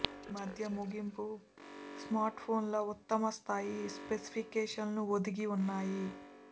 ఈ మధ్య ముగింపు స్మార్ట్ఫోన్లు ఉత్తమ స్ధాయి స్పెసిఫికేషన్లను ఒదిగి ఉన్నాయి